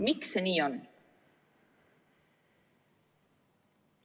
Miks see nii on?